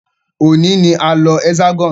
Òní ní a ń lọ Hexagon.